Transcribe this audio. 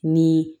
Ni